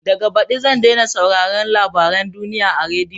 Daga baɗi zan dai sauraron labaren duniya a rediyo.